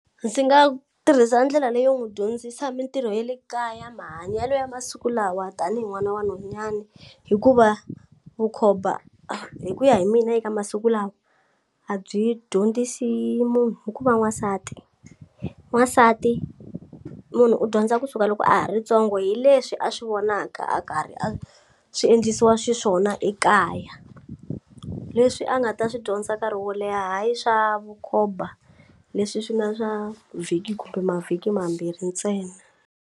Ndzi nga tirhisa ndlela leyo n'wu dyondzisa mintirho ya le kaya mahanyelo ya masiku lawa tanihi n'wana wa nhunyani hikuva vukhomba hi ku ya hi mina eka masiku lawa a byi dyondzisi munhu ku va n'wansati, n'wansati munhu u dyondza kusuka loko a ha ri ntsongo hi leswi a swi vonaka a karhi a swi endlisiwa xiswona ekaya leswi a nga ta swi dyondza nkarhi wo leha hayi swa vukhomba leswi swi nga swa vhiki kumbe mavhiki mambirhi ntsena.